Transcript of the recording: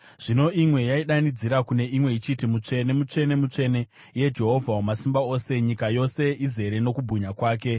Zvino imwe yaidanidzira kune imwe ichiti: “Mutsvene, mutsvene, mutsvene, iye Jehovha Wamasimba Ose; nyika yose izere nokubwinya kwake.”